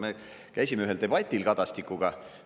Me käisime ühel debatil Kadastikuga.